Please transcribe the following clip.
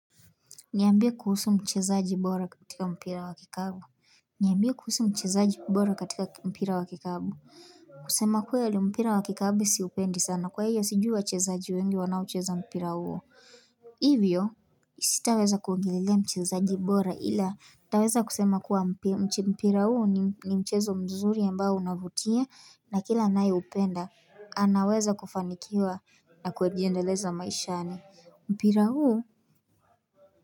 Niambie kuhusu mchezaji bora katika mpira wa kikapu. Niambie kuhusu mchezaji bora katika mpira wa kikapu kusema kweli mpira wa kikapu siupendi sana kwahivyo sijuwa wachezaji wengi wanao cheza mpira huo. Hivyo Sitaweza kuongelelea mchezaji bora ila nitaweza kusema kuwa mpira huo ni mchezo mzuri ambao unavutia na kila anayeupenda anaweza kufanikiwa na kuejiendelezana maishani mpira huu.